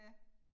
Ja